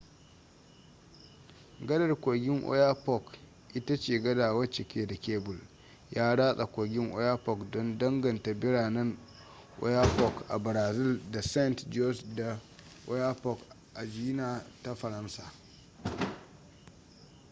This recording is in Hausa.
gadar kogin oyapock ita ce gada wacce ke da kebul ya ratsa kogin oyapock don danganta biranen oiapoque a brazil da saint-georges de l'oyapock a guiana ta faransa